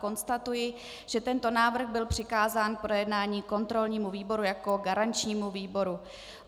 Konstatuji, že tento návrh byl přikázán k projednání kontrolnímu výboru jako garančnímu výboru.